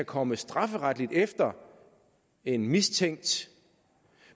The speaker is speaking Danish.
komme strafferetligt efter en mistænkt